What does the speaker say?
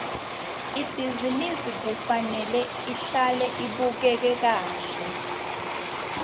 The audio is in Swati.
ibhizinisi kufanele ihlale ibukeka kahle